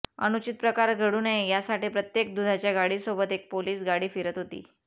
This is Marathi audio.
अनुचित प्रकार घडू नये यासाठी प्रत्येक दुधाच्या गाडीसोबत एक पोलीस गाडी फिरत होती